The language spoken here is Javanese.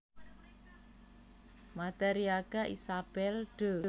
Madariaga Isabel de